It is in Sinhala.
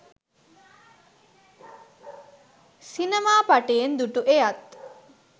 සිනමා පටයෙන් දු‍ටු! එයත්